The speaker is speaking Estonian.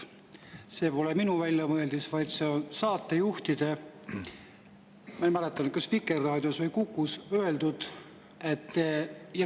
See pole minu väljamõeldis, vaid see on saatejuhtide – ma ei mäleta, kas Vikerraadios või Kukus – öeldu.